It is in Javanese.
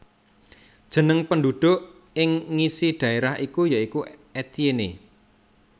Jeneng penduduk ing ngisi daerah iku ya iku Etienne